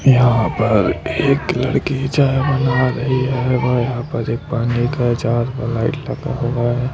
यहाँ पर एक लड़की चाय बना रही है व यहाँ पर एक पानी का जार व लाइट लगा हुआ है।